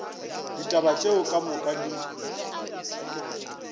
ditaba ka moka tšeo di